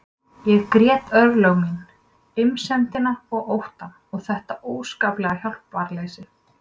Ég grét örlög mín, einsemdina og óttann og þetta óskaplega hjálparleysi.